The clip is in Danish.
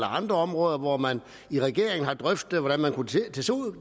andre områder hvor man i regeringen har drøftet hvordan man kunne